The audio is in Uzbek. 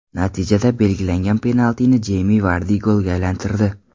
Natijada belgilangan penaltini Jeymi Vardi golga aylantirdi.